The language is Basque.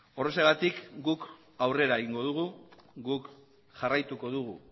horrexegatik guk aurrera egingo dugu guk jarraituko dugu